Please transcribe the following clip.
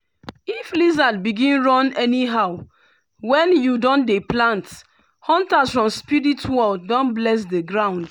if lizard begin run anyhow when you dey plant hunters from spirit world don bless the ground.